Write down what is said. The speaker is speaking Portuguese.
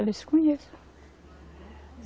Ela disse, conheço.